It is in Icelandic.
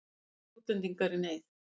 Fleiri útlendingar í neyð